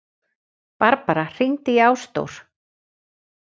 Barbara, hringdu í Ásdór.